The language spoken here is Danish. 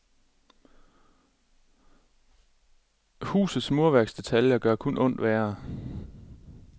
Husets murværksdetaljer gør kun ondt værre.